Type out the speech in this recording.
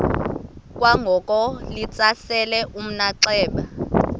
kwangoko litsalele umnxeba